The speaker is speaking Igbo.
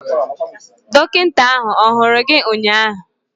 Dọkịta ahụ ọ hụrụ gị ụnyaahụ?